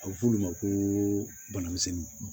A bɛ f'olu ma ko bana misɛnnin